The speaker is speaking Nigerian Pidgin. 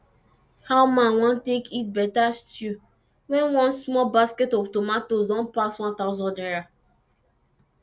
how man wan take eat better stew when one small basket of tomatoes don pass one thousand naira